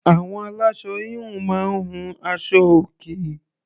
Àwọn aláṣọ -híhun máa ń hun aṣọ-òkè.